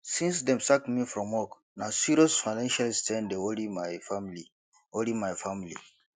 since dem sack me from work na serious financial strain dey worry my family worry my family